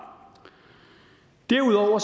derudover